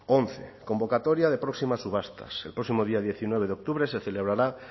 once convocatoria de próximas subastas el próximo día diecinueve de octubre se celebrará